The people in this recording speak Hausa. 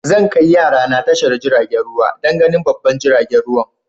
Zan kai yara na wurin tashar jirigin ruwa dan ganin babban jiragen ruwa.